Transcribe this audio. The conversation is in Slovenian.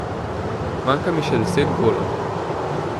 Manjka mi še deset golov.